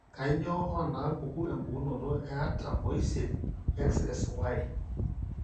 Kainyio onaapuku empukunoto e artam oisiet, XXYY?